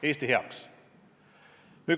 Eesti heaks!